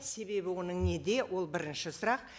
себебі оның неде ол бірінші сұрақ